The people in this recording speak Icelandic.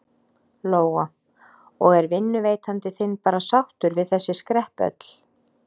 Lóa: Og er vinnuveitandi þinn bara sáttur við þessi skrepp öll?